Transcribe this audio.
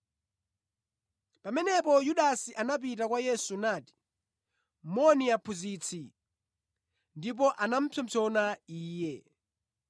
Pamenepo Yudasi anapita kwa Yesu nati, “Moni, Aphunzitsi!” Ndipo anapsompsona Iye.